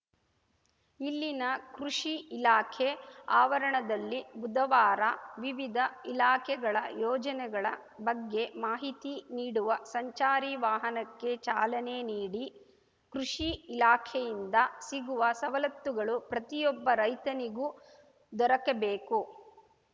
ಇಲ್ಲಿನ ಕೃಷಿ ಇಲಾಖೆ ಆವರಣದಲ್ಲಿ ಬುಧವಾರ ವಿವಿಧ ಇಲಾಖೆಗಳ ಯೋಜನೆಗಳ ಬಗ್ಗೆ ಮಾಹಿತಿ ನೀಡುವ ಸಂಚಾರಿ ವಾಹನಕ್ಕೆ ಚಾಲನೆ ನೀಡಿ ಕೃಷಿ ಇಲಾಖೆಯಿಂದ ಸಿಗುವ ಸವಲತ್ತುಗಳು ಪ್ರತಿಯೊಬ್ಬ ರೈತನಿಗೂ ದೊರಕಬೇಕು